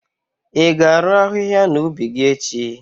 i ga-arụ ahịhịa n'ubi gi echi?